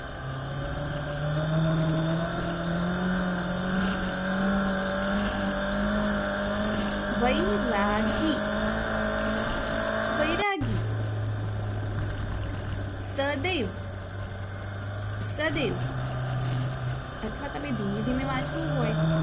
વૈ રા ગી વૈરાગી સદૈવ સદૈવ અથવા તમે ધીમે ધીમે વાંચવું હોય